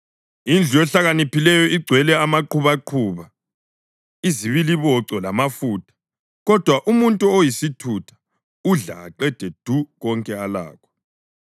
Indlu yohlakaniphileyo igcwele amaqubaquba ezibiliboco lamafutha, kodwa umuntu oyisithutha udla aqede du konke alakho.